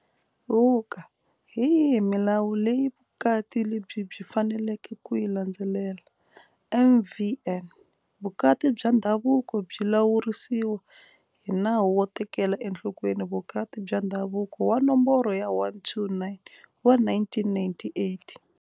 Vuk- Hi yihi milawu leyi vukati lebyi byi faneleke ku yi landzelela? MvN- Vukati bya ndhavuko byi lawuriwa hi Nawu wo Tekela Enhlokweni Vukati bya Ndhavuko wa Nomboro ya 129 wa 1998.